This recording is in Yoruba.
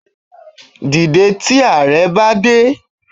Dìde tí Ààrẹ bá dé